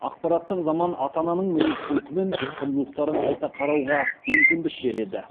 ақпараттық заман ата ананың мінез құлқы мен құндылықтарын қайта қарауға мүмкіндік береді